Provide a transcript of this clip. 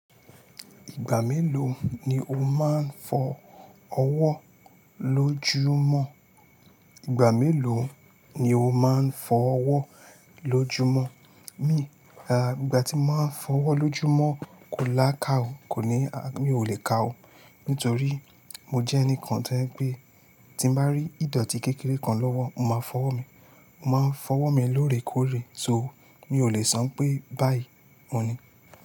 Ìgbà mélòó ni o máa ń fọ ọwọ́ lójúmọ́? Ìgbà tí máa ń fọ ọwọ́ lójúmọ́ kò lá ká ò, kò ní, à, mi ò lè ka ó, nítorí mo jẹ́ ẹnìkan to je pe tí n bá rí ìdọ̀tí kékeré kan lọ́wọ́, mo máa fọwọ́ mi. Mo máa ń fọwọ́ mi lóòrèkóòrè, so mi ò lè san pé báyìí ohun ní.